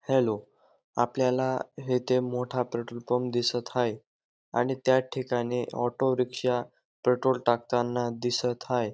Hello आपल्याला येथे मोठा पेट्रोल पंप दिसत हाये आणि त्या ठिकाणी ऑटो रिक्षा पेट्रोल टाकताना दिसत हाये.